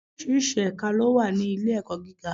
Oríṣiríṣi ẹ̀ka ló wà ní ilé-ẹ̀kọ́ gíga.